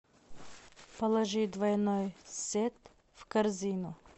положи двойной сет в корзину